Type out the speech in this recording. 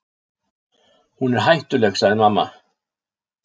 Hún er hættuleg, sagði mamma.